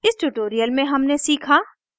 इस tutorial में हमने सीखा